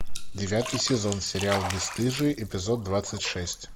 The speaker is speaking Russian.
девятый сезон сериал бесстыжие эпизод двадцать шесть